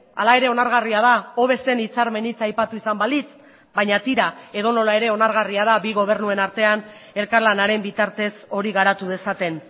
hala ere onargarria da hobe zen hitzarmen hitza aipatu izan balitz baina tira edonola ere onargarria da bi gobernuen artean elkarlanaren bitartez hori garatu dezaten